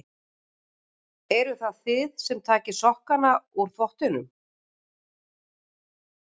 Eruð það þið sem takið sokkana úr þvottinum?